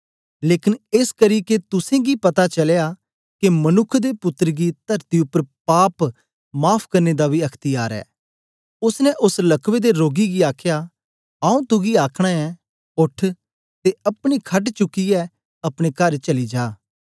लेकन एसकरी के तुसेंगी पता चलया के मनुक्ख दे पुत्तर गी तरती उपर पाप माफ़ करने दा बी अख्त्यार ऐ ओसने ओस लकवे दे रोगी गी आख्या आऊँ तुगी आखना ऐं ओठ ते अपनी खट चुकियै अपने कर चली जा